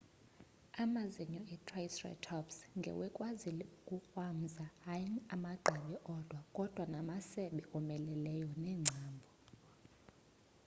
amazinyo e-triceratops ngewekwazile ukukrwamza hayi amagqabi odwa kodwa namasebe omeleleyo neengcambhu